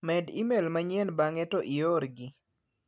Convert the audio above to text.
Medi ime l manyien bang'e to ior gi.